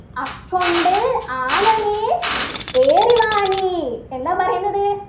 അക്കൊണ്ടൽ ആനമേൽ ഏറിവാ നീ എന്താ പറയുന്നത്